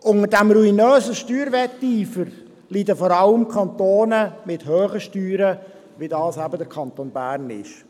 Unter diesem ruinösen Steuerwetteifer leiden vor allem Kantone mit hohen Steuern, wie dies der Kanton Bern ist.